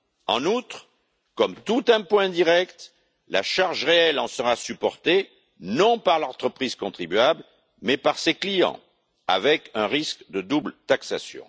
En outre, comme tout impôt indirect, la charge réelle en sera supportée non par l'entreprise contribuable, mais par ses clients, avec un risque de double taxation.